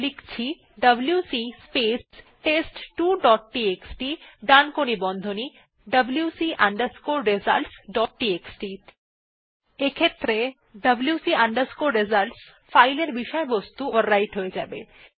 লিখছি WC space test two dot TXT ডানকোণী বন্ধনী wc results ডট টিএক্সটি এক্ষেত্রে wc results ফাইলের বিষয়বস্তু ওভাররাইট হয়ে যাবে